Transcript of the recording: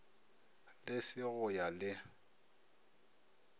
le se go ya le